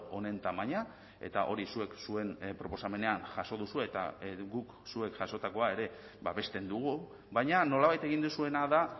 honen tamaina eta hori zuek zuen proposamenean jaso duzue eta guk zuek jasotakoa ere babesten dugu baina nolabait egin duzuena da